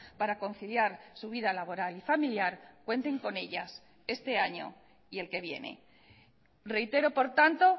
para conciliar su vida laboral y familiar cuenten con ellas este año y el que viene reitero por tanto